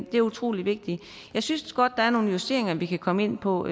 det er utrolig vigtigt jeg synes godt der er nogle justeringer vi kan komme ind på